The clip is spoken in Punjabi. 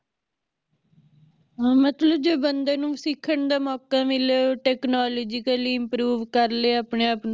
ਹਾਂ ਮਤਲਬ ਜੇ ਬੰਦੇ ਨੂੰ ਸਿਖਨ ਦਾ ਮੋਕਾ ਮਿਲੇ technologically ਦੇ ਲਈ improve ਕਰਲੇ ਆਪਣੇ ਆਪ ਨੂੰ